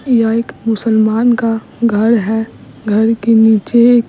यह एक मुसलमान का घर है घर के नीचे --